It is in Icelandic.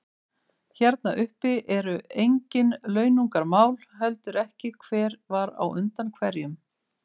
Hérna uppi eru engin launungarmál, heldur ekki hver var undan hverjum.